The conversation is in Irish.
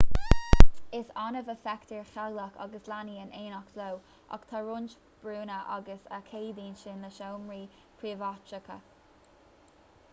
is annamh a fheictear teaghlaigh agus leanaí in éineacht leo ach tá roinnt brúnna ann a cheadaíonn sin le seomraí príobháideacha